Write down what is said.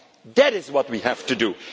fathers. That is what we have